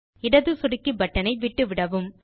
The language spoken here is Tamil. இடது சொடுக்கி பட்டன் ஐ விட்டுவிடவும்